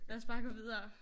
Lad os bare gå videre